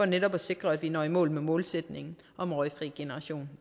netop at sikre at vi når i mål med målsætningen om en røgfri generation